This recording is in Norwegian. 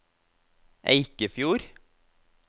Eikefjord